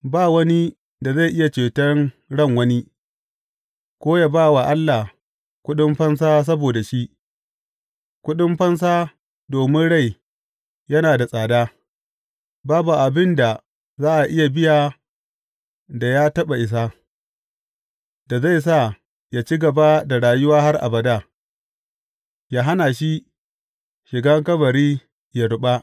Ba wani da zai iya ceton ran wani ko yă ba wa Allah kuɗin fansa saboda shi, kuɗin fansa domin rai yana da tsada, babu abin da za a biya da ya taɓa isa, da zai sa yă ci gaba da rayuwa har abada yă hana shi shigan kabari yă ruɓa.